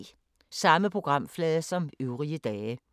Samme programflade som øvrige dage